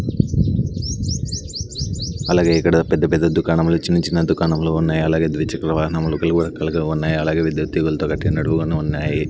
అలాగే ఇక్కడ పెద్ద పెద్ద దుకాణంలు చిన్న చిన్న దుకాణంలు ఉన్నాయి అలాగే ద్విచక్ర వాహనములు ఉన్నాయి అలాగే విద్యుత్ తీగలతో కట్టినటువన్నీ ఉన్నాయి.